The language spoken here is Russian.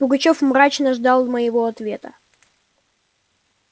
пугачёв мрачно ждал моего ответа